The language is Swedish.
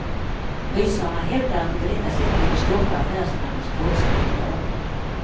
Ryssarna hävdar att de på detta sätt ville stoppa affärsmannens brottsliga planer.